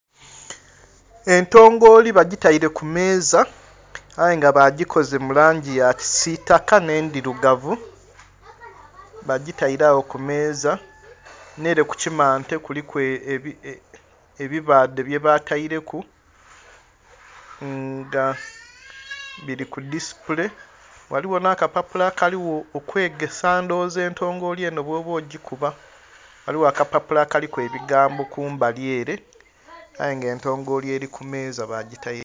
Entongoli bagitaire kumeeza aye nga bagikoze mulangi yakisitaka n'edhirugavu bagitaire agho kumeeza n'ere kukimante kuliku ebabaadhe byebataireku nga biri kudhisipule ghaligho nakapapula akaligho okwegesa ndhowoza entongoli eno bwoba ogikuba, ghaligho akapapula akaliku ebigambo kumbali ere aye nga entongoli eri kumeeza bagitaire ku.